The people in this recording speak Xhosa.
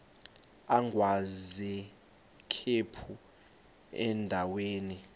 agwaz ikhephu endaweni